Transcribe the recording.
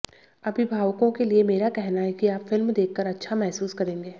अभिभावकों के लिए मेरा कहना है कि आप फिल्म देखकर अच्छा महसूस करेंगे